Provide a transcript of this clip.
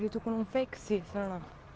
я только мейксина